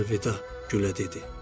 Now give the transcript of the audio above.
Əlvida, gülə dedi.